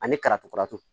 Ani kalatutaratu